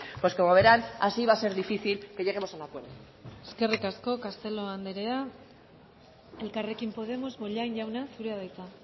pues como verán así va a ser difícil que lleguemos a un acuerdo eskerrik asko castelo andrea elkarrekin podemos bollain jauna zurea da hitza